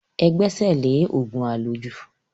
Ẹ gbẹ́sẹ̀ lé òògùn àlòjù.